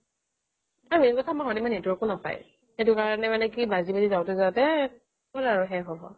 আৰু এনেকুৱা মানে network ও নাপায় সেইকাৰনে মানে কি বাজি বাজি যাওঁতে যাওঁতে ক'ত আৰু শেষ হ'ব